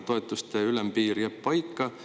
Toetuste ülempiir jääb paika.